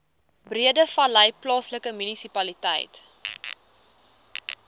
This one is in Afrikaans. breedevallei plaaslike munisipaliteit